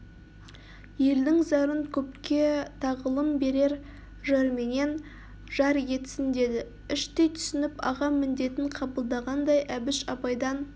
елдің зарын көпке тағылым берер жырменен жар етсін деді іштей түсініп аға міндетін қабылдағандай әбіш абайдан